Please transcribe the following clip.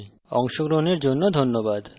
আমরা we tutorial শেষে চলে এসেছি